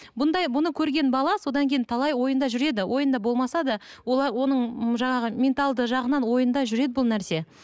бұндай бұны көрген бала содан кейін талай ойында жүреді ойында болмаса да оның жаңағы менталды жағынан ойында жүреді бұл нәрсе